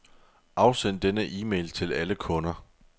Afsend denne e-mail til alle kunder.